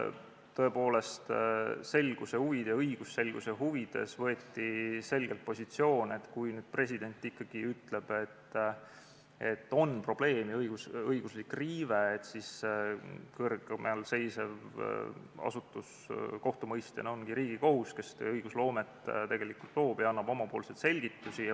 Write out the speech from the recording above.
Tõepoolest, õigusselguse huvides võeti selgelt positsioon, et kui president ikkagi ütleb, et on probleem ja õiguslik riive, siis kõrgemalseisev asutus kohtumõistjana ongi Riigikohus, kes õigust tegelikult loob ja annab oma selgitusi.